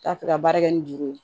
T'a fɛ ka baara kɛ ni juru ye